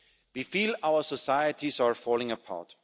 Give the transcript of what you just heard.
We feel our societies are falling apart.